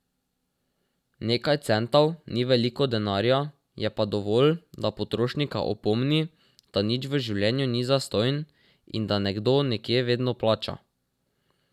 Nekaj centov ni veliko denarja, je pa dovolj, da potrošnika opomni, da nič v življenju ni zastonj in da nekdo nekje vedno plača.